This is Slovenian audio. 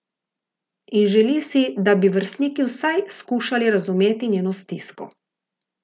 In želi si, da bi vrstniki vsaj skušali razumeti njeno stisko.